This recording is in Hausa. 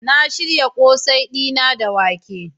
Na shirya kose dina da wake.